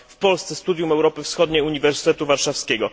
w Polsce Studium Europy Wschodniej Uniwersytetu Warszawskiego.